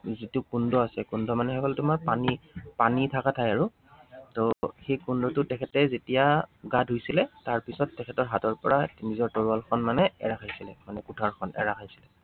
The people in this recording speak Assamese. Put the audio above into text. যিটো কুণ্ড আছে, কুণ্ড মানে হৈ গল তোমাৰ পানী, পানী থাকা ঠাই আৰু, ত সেই কুণ্ডটোত তেখেতে যেতিয়া গা ধুইছিলে, তাৰপিছত তেখেতৰ হাতৰ পৰা নিজৰ তৰোৱালখন মানে এৰা খাইছিলে মানে কুঠাৰখন এৰা খাইছিলে।